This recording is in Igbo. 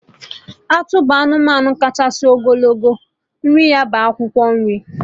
Atụ bụ anụmanụ kachasị n'ogologo, nri ha bụ akwụkwọ nri